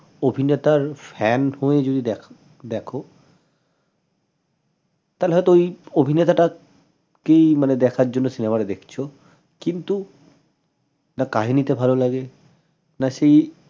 অভিনেতার fan হয়ে যদি দেখ দেখ তালে হয়ত ঐ অভিনেতাটা কেই দেখার জন্য cinema টা দেখছ কিন্তু না কাহিনীটা ভাল লাগে না সেই